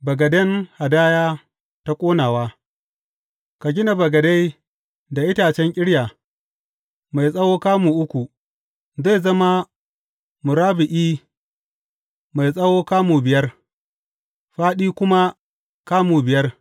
Bagaden hadaya ta ƙonawa Ka gina bagade da itacen ƙirya, mai tsawo kamu uku, zai zama murabba’i, mai tsawo kamu biyar, fāɗi kuma kamu biyar.